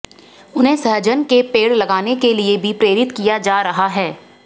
उन्हें सहजन के पेड़ लगाने के लिए भी प्रेरित किया जा रहा है